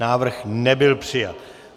Návrh nebyl přijat.